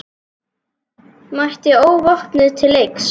Mætti óvopnuð til leiks.